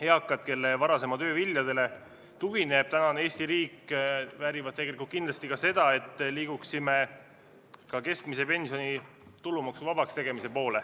Eakad, kelle varasema töö viljadele tugineb tänane Eesti riik, väärivad tegelikult kindlasti ka seda, et liiguksime keskmise pensioni tulumaksuvabaks tegemise poole.